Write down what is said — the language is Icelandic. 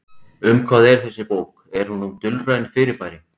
Um hvað er þessi bók, er hún um dulræn fyrirbæri?